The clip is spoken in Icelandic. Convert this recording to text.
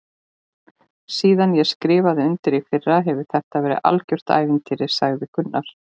Síðan ég skrifaði undir í fyrra hefur þetta verið algjört ævintýri sagði Gunnar.